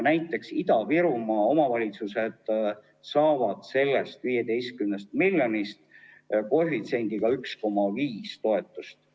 Näiteks, Ida-Virumaa omavalitsused saavad sellest 15 miljonist koefitsiendiga 1,5 toetust.